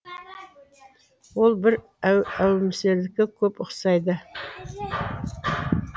ол бір әумесерлікке көп ұқсайды